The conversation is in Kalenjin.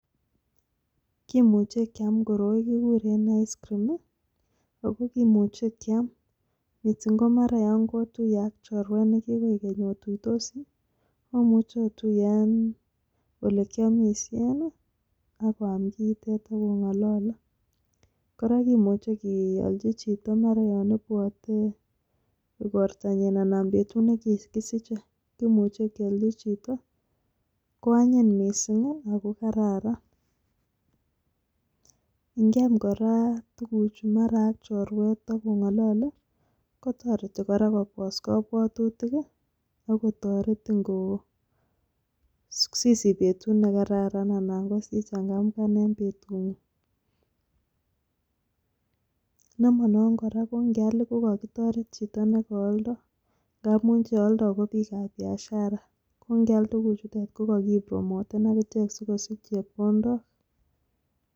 Kimuche kiam koroi kikuren ice scream ako kimuche kiam missing ko mara yon kotuye ak chorwek nekikoik keny otuitosi omuche otuyee en olekiomishen nii ak oam kiitet ak ongolole. Koraa kimuche kiolchi chito mara yon ibwote igortonyin anan betut nekikisiche kimuche kiolchi chito ko anyin missingi ako kararan. Nkiaam koraa tukuchu mara ak chorwek akongolole kotoreti Koraa Kobos kobwotutik kii ak kotoretin koo sisich betut nekararan anan sichangamgan en betunguny . Nemonon Koraa ko ikinal ko kokitoret chito nekooldo amun che oldo ko bikab biashara ko nkial tukuchutet ko ko kii promoten ak ichek sikosich chepkondok.